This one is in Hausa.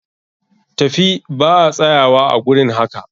Tafi ba a tsayuwa a gurin haƙa!